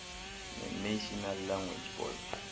nenational language board